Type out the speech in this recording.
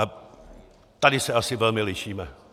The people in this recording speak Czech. A tady se asi velmi lišíme.